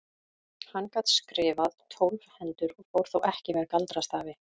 Hann gat skrifað tólf hendur og fór þó ekki með galdrastafi.